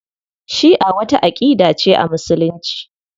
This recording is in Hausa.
Shi'a wata aƙida ce a Musulunci.